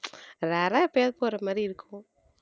rare ஆ எப்பயாவது போற மாதிரி இருக்கும்